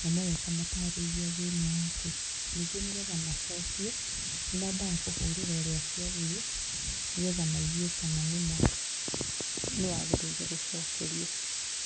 na moya ũkamatarĩria thĩna waku ningĩ nĩgetha macokie nĩ mambaga kũhũrĩra ũrĩa ciathiĩ nĩgetha maigue kana nĩma nĩ wagĩrĩire gũcokerio.